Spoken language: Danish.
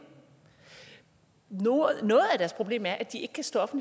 noget af deres problem er at de ikke kan stå